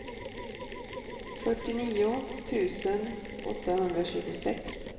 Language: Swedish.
fyrtionio tusen åttahundratjugosex